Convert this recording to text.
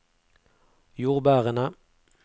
jordbærene